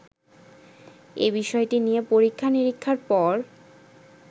এবিষয়টি নিয়ে পরীক্ষা নীরিক্ষার পর